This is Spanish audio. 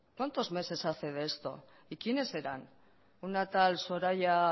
cuántos meses hace de esto y quiénes eran una tal soraya